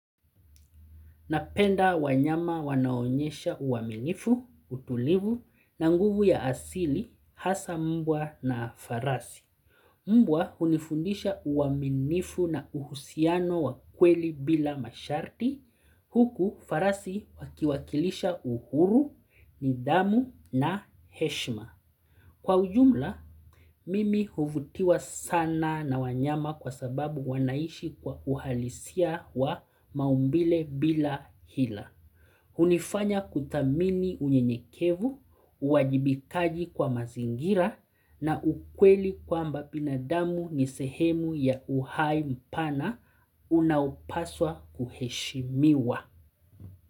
Napenda wanyama wanao onyesha uaminifu, utulivu, na nguvu ya asili, hasa mbwa na farasi. Mbwa hunifundisha uaminifu na uhusiano wa kweli bila masharti, huku farasi wakiwakilisha uhuru, nidhamu na heshima. Kwa ujumla, mimi huvutiwa sana na wanyama kwa sababu wanaishi kwa uhalisia wa maumbile bila hila. Hunifanya kuthamini unyenyekevu, uwajibikaji kwa mazingira na ukweli kwamba binadamu ni sehemu ya uhai mpana unaopaswa kuheshimiwa.